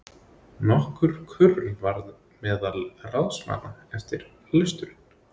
Nokkur kurr varð meðal ráðsmanna eftir lesturinn.